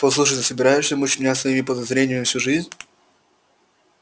послушай ты собираешься мучить меня своими подозрениями всю жизнь